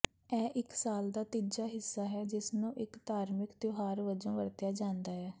ਇਹ ਇਕ ਸਾਲ ਦਾ ਤੀਜਾ ਹਿੱਸਾ ਹੈ ਜਿਸਨੂੰ ਇਕ ਧਾਰਮਿਕ ਤਿਉਹਾਰ ਵਜੋਂ ਵਰਤਿਆ ਜਾਂਦਾ ਹੈ